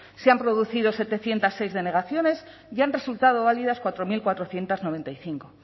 se han producido setecientos seis denegaciones y han resultado válidas cuatro mil cuatrocientos noventa y cinco